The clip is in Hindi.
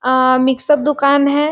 अअ मिक्सअप दुकान हैं ।